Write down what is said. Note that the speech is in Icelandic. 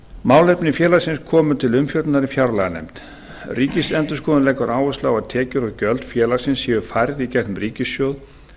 málefni félagsins komu til umfjöllunar í fjárlaganefnd ríkisendurskoðun leggur áherslu á að tekjur og gjöld félagsins séu færð í gegnum ríkissjóð